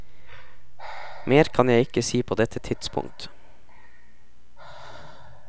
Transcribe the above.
Mer kan jeg ikke si på dette tidspunkt.